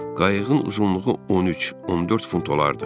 Qayığın uzunluğu 13-14 fut olardı.